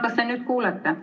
Kas te nüüd kuulete?